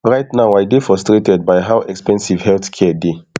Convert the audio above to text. right now i dey frustrated by how expensive healthcare dey